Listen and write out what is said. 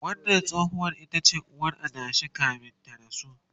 wannan tsohuwar itace uwar adashin kamin ya rasu